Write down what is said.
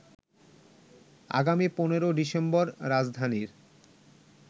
আগামী ১৫ ডিসেম্বর রাজধানীর